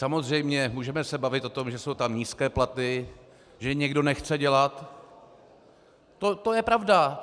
Samozřejmě můžeme se bavit o tom, že jsou tam nízké platy, že někdo nechce dělat, to je pravda.